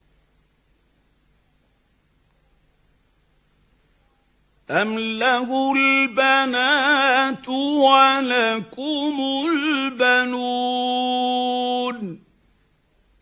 أَمْ لَهُ الْبَنَاتُ وَلَكُمُ الْبَنُونَ